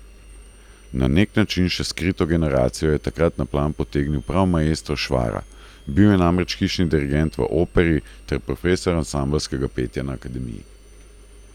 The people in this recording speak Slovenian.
Na neki način še skrito generacijo je takrat na plan potegnil prav maestro Švara, bil je namreč hišni dirigent v Operi ter profesor ansambelskega petja na akademiji.